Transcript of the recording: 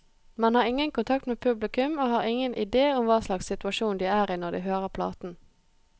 Man har ingen kontakt med publikum, og har ingen idé om hva slags situasjon de er i når de hører platen.